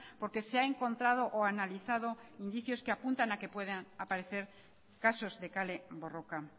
porque se ha encontrado o analizado indicios que apuntan a que pueden aparecer casos de kale borroka